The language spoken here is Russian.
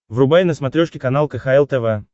врубай на смотрешке канал кхл тв